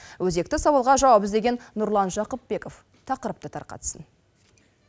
өзекті сауалға жауап іздеген нұрлан жақыпбеков тақырыпты тарқатсын